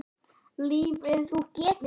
Lifa lífinu!